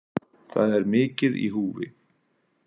Það er mikið í húfi